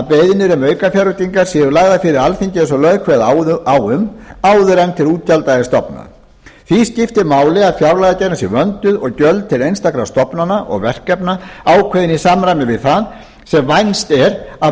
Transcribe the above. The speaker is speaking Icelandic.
beiðnir um aukafjárveitingar séu lagðar fyrir alþingi eins og lög kveða á um áður en til útgjalda er stofnað því skiptir máli að fjárlagagerðin sé vönduð og gjöld til einstakra stofnana og verkefna ákveðin í samræmi við það sem vænst er af